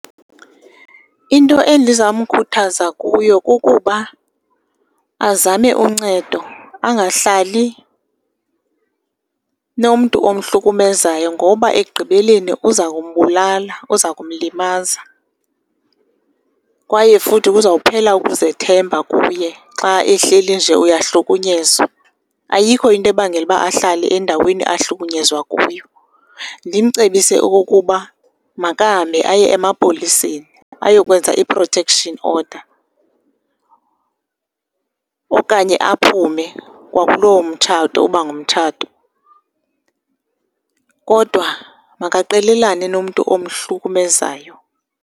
Into endiza kumkhuthaza kuyo kukuba azame uncedo angahlali nomntu omhlukumezayo ngoba ekugqibeleni uza kumbulala, uza kumlimaza, kwaye futhi kuzophela ukuzethemba kuye xa ehleli nje uyahlukunyezwa. Ayikho into ebangela uba ahlale endaweni ahlukunyezwa kuyo, ndimcebise okukuba makahambe aye emapoliseni ayokwenza i-protection order okanye aphume kwakuloo mtshato uba ngumtshato, kodwa makaqelelane nomntu omhlukumezayo.